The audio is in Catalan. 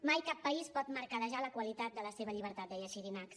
mai cap país pot mercadejar la qualitat de la seva llibertat deia xirinacs